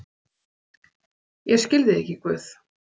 """Ég skil þig ekki, Guð."""